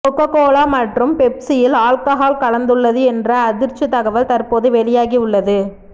cocoa Cola மற்றும் பெப்சியில் alcohol கலந்துள்ளது என்ற அதிர்ச்சி தகவல் தற்போது வெளியாகி உள்ளது